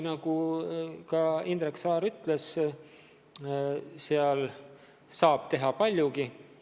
Nagu ka Indrek Saar ütles, seal saab teha paljugi.